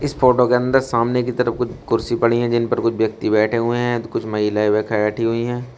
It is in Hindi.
फोटो के अंदर सामने की तरफ कुछ कुर्सी पड़ी है जिन पर कुछ व्यक्ति बैठे हुए हैं तो कुछ महिलाएं व ख बैठी हुई हैं।